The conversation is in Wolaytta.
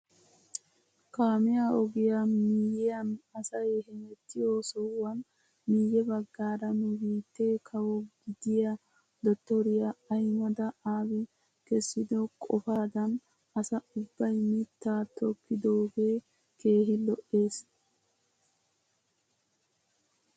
Kaamiyaa ogiyaa miyiyaan asay hemettiyoo sohuwaan miye baggaara nu biittee kawo gidiyaa dottoriyaa ahimeda aabi kessido qofaadan asa ubbay mittaa tokkidoogee keehi lo"ees!